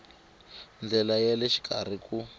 ndlela ya le xikarhi ku